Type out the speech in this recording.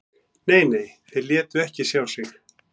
Nei, nei, þeir létu ekki sjá sig